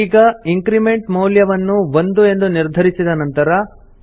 ಈಗ ಇನ್ಕ್ರಿಮೆಂಟ್ ಮೌಲ್ಯ ವನ್ನು 1 ಎಂದು ನಿರ್ಧರಿಸಿದ ನಂತರ